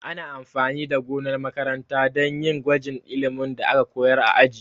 Ana amfani da gonar makaranta dan yin gwajin ilimin da aka koyar a aji